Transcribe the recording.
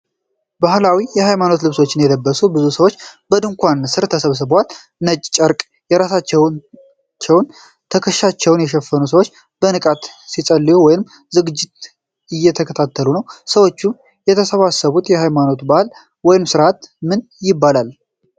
ባህላዊ የሃይማኖት ልብሶችን የለበሱ ብዙ ሰዎች በድንኳን ሥር ተሰብስበዋል። ነጭ ጨርቅ ራሳቸውንና ትከሻቸውን የሸፈኑ ሰዎች በንቃት ሲጸልዩ ወይም ዝግጅት እየተከታተሉ ነው። ሰዎች የተሰባሰቡበት ሃይማኖታዊ በዓል ወይም ሥርዓት ምን ይባላል?